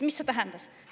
Mida see tähendas?